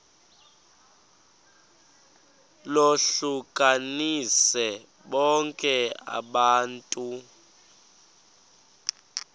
lohlukanise bonke abantu